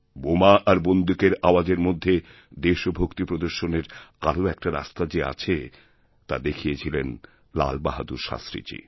বোমা আর বন্দুকের আওয়াজের মধ্যে দেশভক্তি প্রদর্শনের আরও একটারাস্তা যে আছে তা দেখিয়েছিলেন লাল বাহাদুর শাস্ত্রীজি